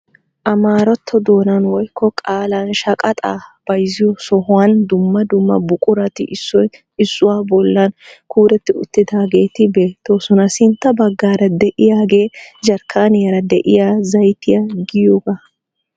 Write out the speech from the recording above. Amaaratto doonan woykko qaalan shaaqaaxaa bayzziyoo sohuwaan dumma dumma buqurati issoy issuwaa bollaan kuretti uttidaageeti beettoosona. sintta baggaara de'iyaagee jarkkaniyaara de'iyaa zaytiyaaa giyoogaa.